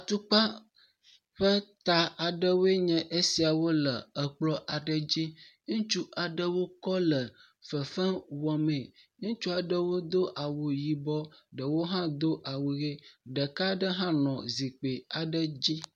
Tukpa ƒe ta aɖewoe nye esia le ekplɔ aɖe dzi , ŋutsu aɖewo kɔ le fefe wɔmee, ŋutsua ɖewo do awu yibɔ, ɖewo do awu ʋi, ɖeka aɖe hã nɔ zikpui aɖe dzi.